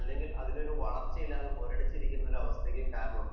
അല്ലെങ്കിൽ അതിനു ഒരു വളർച്ച ഇല്ലാതെ മുരടിച്ചിരിക്കാനും കാരണമാവും